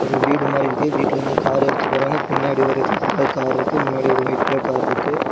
இது வீடு மாரி இருக்கு வீட்டில இருந்து கார் எடுத்துட்டு போறாங்க பின்னாடி ஒரு ரெட் கலர் கார் இருக்கு முன்னாடி ஒரு ஒயிட் கலர் கார் இருக்கு.